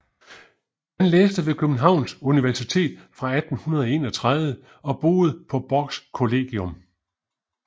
Han læste ved Københavns Universitet fra 1831 og boede på Borchs Kollegium